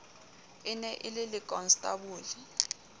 e ne e le lekonstabole